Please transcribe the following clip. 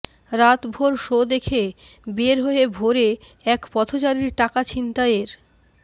রাতভর শো দেখে বের হয়ে ভোরে এক পথচারীর টাকা ছিনতাইয়ের